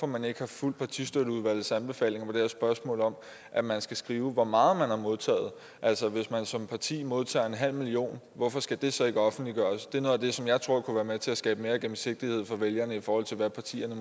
man ikke har fulgt partistøtteudvalgets anbefaling i spørgsmålet om at man skal skrive hvor meget man har modtaget altså hvis man som parti modtager en halv million hvorfor skal det så ikke offentliggøres det er noget af det som jeg tror kunne være med til at skabe mere gennemsigtighed for vælgerne i forhold til hvad partierne